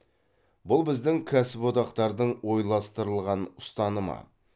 бұл біздің кәсіподақтардың ойластырылған ұстанымы